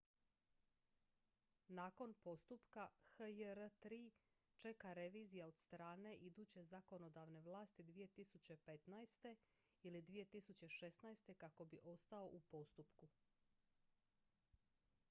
nakon postupka hjr-3 čeka revizija od strane iduće zakonodavne vlasti 2015. ili 2016. kako bi ostao u postupku